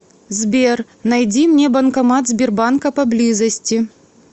сбер найди мне банкомат сбербанка поблизости